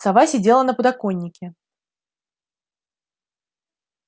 сова сидела на подоконнике